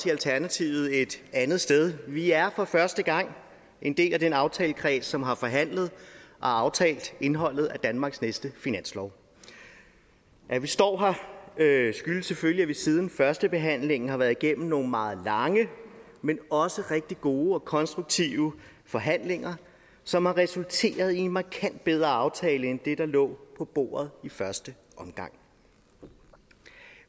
i alternativet et andet sted vi er for første gang en del af den aftalekreds som har forhandlet og aftalt indholdet af danmarks næste finanslov at vi står her skyldes selvfølgelig at vi siden førstebehandlingen har været igennem nogle meget lange men også rigtig gode og konstruktive forhandlinger som har resulteret i en markant bedre aftale end det der lå på bordet i første omgang